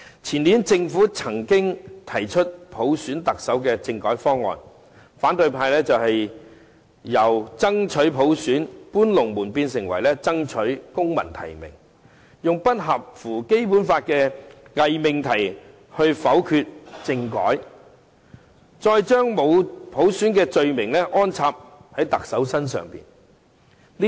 前年政府曾經提出普選特首的政改方案，但反對派卻"搬龍門"，由"爭取普選"變成"爭取公民提名"，用不符合《基本法》的偽命題來否決政改，再將沒有普選的罪名安插在特首身上。